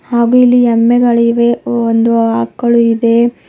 ಹಾಗೂ ಇಲ್ಲಿ ಎಮ್ಮೆಗಳಿವೆ ಒಂದು ಆಕಳು ಇದೆ.